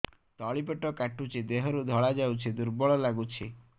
ତଳି ପେଟ କାଟୁଚି ଦେହରୁ ଧଳା ଯାଉଛି ଦୁର୍ବଳ ଲାଗୁଛି